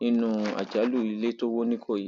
nínú àjálù ilé tó wọ nìkòyí